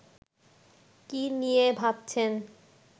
কি নিয়ে ভাবছেন